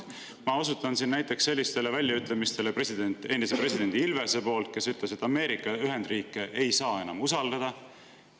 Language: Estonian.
Ma osutan siin näiteks endise presidendi Ilvese väljaütlemistele, kes on öelnud, et Ameerika Ühendriike ei saa enam usaldada.